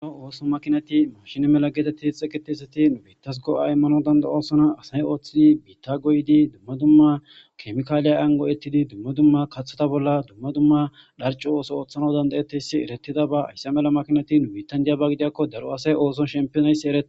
Garo ooso makinati mashini mela geetetti xeqetesati nu biittas go'a immano danda oosona asay ooththidi biitta goyidi dumma dumma kemikaaliyay ango ettidi dumma dumma kathota bolla dumma dumma dharcu ooso ooththana dandayettesi eretida ba aysse mela makinati nubitandiyaba gidiakko daro asay ooson shempionaysi eree